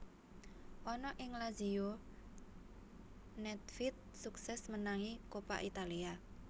Ana ing Lazio nèdvèd suksès menangi Coppa Italia